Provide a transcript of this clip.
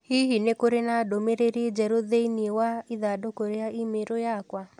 Hihi nĩ kũrĩ na ndũmĩrĩri njerũ thĩinĩ wa ithandũkũ ria i-mīrū yakwa?